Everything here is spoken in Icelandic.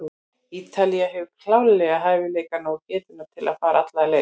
Ítalía hefur klárlega hæfileikana og getuna til að fara alla leið.